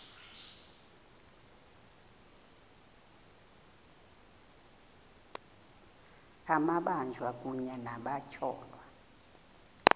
amabanjwa kunye nabatyholwa